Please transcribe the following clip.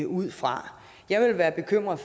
ud fra jeg ville være bekymret